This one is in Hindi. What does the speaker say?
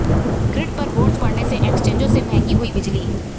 ग्रिड पर बोझ पड़ने से एक्सचेंजों में महंगी हुई बिजली